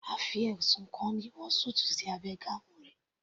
A fi ẹ̀sùn kan ni wọ súùtù sí abẹ́ gown rẹ̀